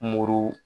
Muru